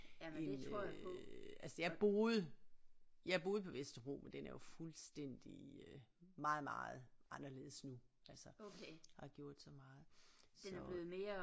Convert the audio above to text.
End øh altså jeg boede jeg boede på Vesterbro men den er jo fuldstændig øh meget meget anderledes nu altså der er gjort så meget så